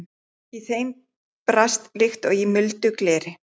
Í þeim brast líkt og í muldu gleri.